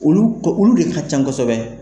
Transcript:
Olu olu de ka can kosɛbɛ.